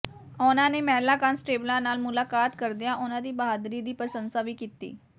ਉਨਾਂ ਨੇ ਮਹਿਲਾ ਕਾਂਸਟੇਬਲਾਂ ਨਾਲ ਮੁਲਾਕਾਤ ਕਰਦਿਆਂ ਉਨਾਂ ਦੀ ਬਹਾਦਰੀ ਦੀ ਪ੍ਰਸੰਸਾ ਵੀ ਕੀਤੀ